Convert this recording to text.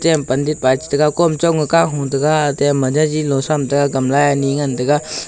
yam pandit by tai chi gaga kom chong ga teya kamla ani ngan taiga.